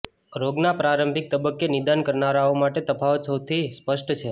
રોગનો પ્રારંભિક તબક્કે નિદાન કરનારાઓ માટે આ તફાવત સૌથી સ્પષ્ટ છે